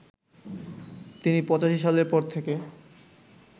তিনি ৮৫ সালের পর থেকে